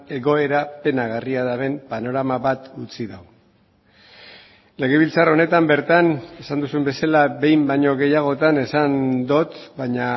egoera penagarria duten panorama bat utzi du legebiltzar honetan bertan esan duzun bezala behin baino gehiagotan esan dut baina